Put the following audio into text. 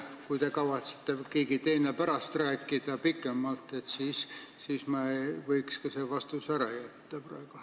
Kui te aga kavatsete või keegi teine kavatseb sellest pärast pikemalt rääkida, siis võiks selle vastuse praegu ära jätta.